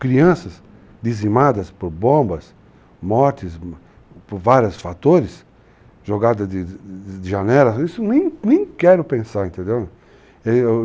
Crianças dizimadas por bombas, mortes por vários fatores, jogadas de janelas, isso nem quero pensar, entendeu?